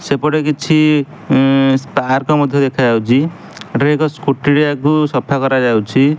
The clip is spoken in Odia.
ସେପଟେ କିଛି ଏନ୍ ପାର୍କ ମଧ୍ୟ ଦେଖାଯାଉଛି ଏଠାରେ ସ୍କୁଟି ଟା କୁ ସଫା କରାଯାଉଛି।